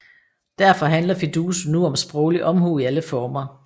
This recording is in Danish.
Derfor handler Fiduso nu om sproglig omhu i alle former